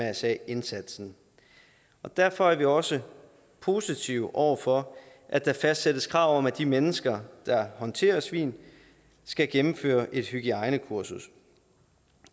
mrsa indsatsen derfor er vi også positive over for at der fastsættes krav om at de mennesker der håndterer svin skal gennemføre et hygiejnekursus